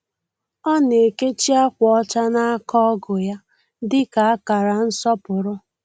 Ọ na-ekechi akwa ọcha n’aka ọgu ya dị ka akara nsọpụrụ.